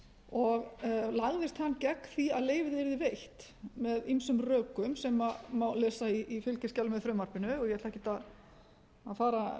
og lagðist hann gegn því að leyfið yrði veitt með ýmsum rökum sem má lesa í fylgiskjali með frumvarpinu og ég ætla ekkert að fara